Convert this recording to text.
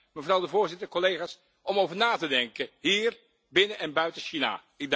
Mevrouw de voorzitter, collega's, om over na te denken, hier, binnen en buiten China.